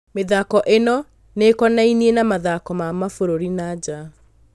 Mĩthako ĩno nĩkonainiĩ na mathako ma mabũrũri ma nanja.